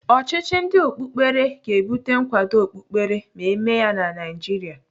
Ọchịchị ndị okpukperechi ga-ebute nkwado okpukperechi ma eme ya na Naịjiria.